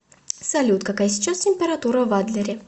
салют какая сейчас температура в адлере